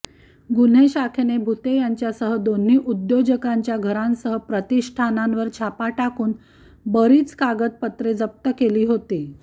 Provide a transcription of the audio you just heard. गुन्हेशाखेने भुते यांच्यासह दोन्ही उद्योजकांच्या घरांसह प्रतिष्ठानांवर छापा टाकून बरीच कागदपत्रे जप्त केली होती